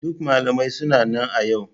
Duk malamai suna nan a yau.